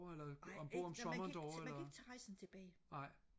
nej ikke nej man kan ikke man kan ikke tage rejsen tilbage